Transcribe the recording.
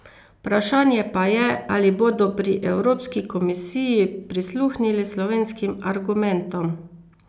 Vprašanje pa je, ali bodo pri Evropski komisiji prisluhnili slovenskim argumentom.